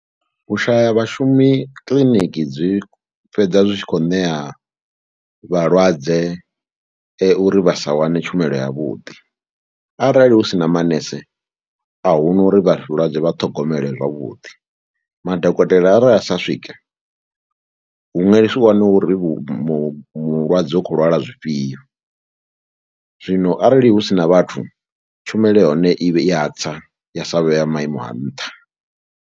U shaya vhashumi kiḽiniki dzi fhedza zwi tshi khou ṋea vhalwadze uri vha sa wane tshumelo yavhuḓi, arali hu si na manese a hu na uri vhalwadze vha ṱhogomele zwavhuḓi. Madokotela arali a sa swika hu nga si waniwe uri mu mulwadze u khou lwala zwifhio. Zwino arali hu si na vhathu tshumelo ya hone i ya tsa ya sa vhe ya maimo a nṱha.